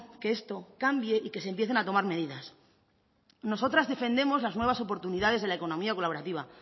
que esto cambie y que se empiecen a tomar medidas nosotras defendemos las nuevas oportunidades de la economía colaborativa